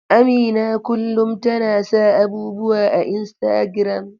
Amina kullum tana sa abubuwa a Instagram.